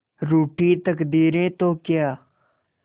रूठी तकदीरें तो क्या